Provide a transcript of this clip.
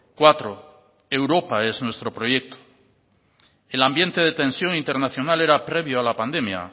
cuatro europa es nuestro proyecto el ambiente de tensión internacional era previo a la pandemia